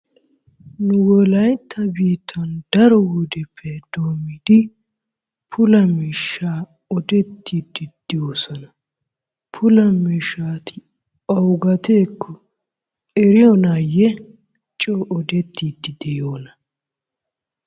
Nu wolaytta biittan daro wodiyappe doommidi pula miishshaa odettiiddi de'oosona. Pula miishshati awugeetakko eeiyonaayye coo odettiiddi de'iyonaa?